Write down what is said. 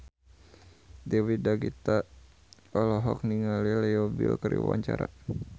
Dewi Gita olohok ningali Leo Bill keur diwawancara